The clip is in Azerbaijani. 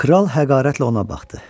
Kral həqərətlə ona baxdı.